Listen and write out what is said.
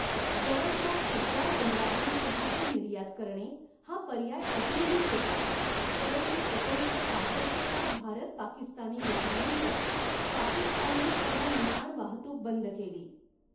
जवळच्या चटगांव बंदरातून चहाची निर्यात करणे हा पर्याय अजूनही होता, परंतु एकोणीसशे पासष्टच्या भारत पाकिस्तानी युद्धानंतर पाकिस्तानने सर्व नेआण वाहतूक बंद केली.